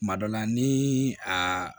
Kuma dɔ la ni a